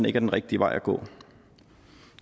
er den rigtige vej at gå